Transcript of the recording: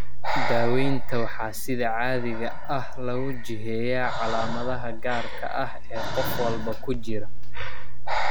Daawaynta waxaa sida caadiga ah lagu jiheeyaa calaamadaha gaarka ah ee qof walba ku jira.